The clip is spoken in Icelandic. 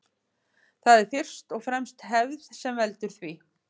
Það er fyrst og fremst hefð sem veldur því.